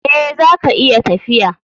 Eh, zaka iya tafiya.